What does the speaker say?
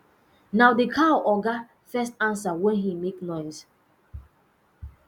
na the cow oga oga first answer when he mak noise